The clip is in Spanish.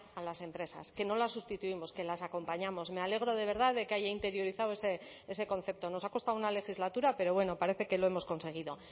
a las empresas que no la sustituimos que las acompañamos me alegro de verdad de que haya interiorizado ese concepto nos ha costado una legislatura pero bueno parece que lo hemos conseguido